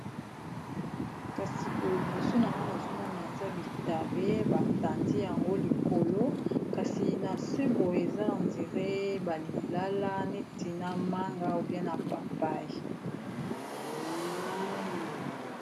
Kasi boye liboso nanga nazomona eza bitabe batandi yango likolo kasi na se boye eza ondire ba lilala neti na manga ou bien na papay.